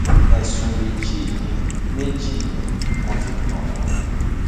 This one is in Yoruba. ẹsùn méjì ni méjì ni wọn fi kàn wọn